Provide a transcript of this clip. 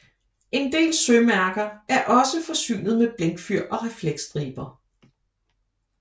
En del sømærker er også forsynet med blinkfyr og refleksstriber